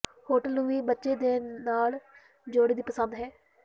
hotel ਨੂੰ ਵੀ ਬੱਚੇ ਦੇ ਨਾਲ ਜੋੜੇ ਦੀ ਪਸੰਦ ਹੈ